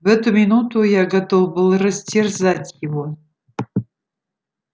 в эту минуту я готов был растерзать его